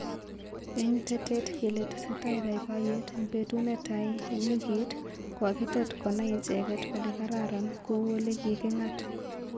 eng tetet kele tesetai boiboyet eng betut netai eng wikit kokitet konai icheket kole kararan kou olekikingat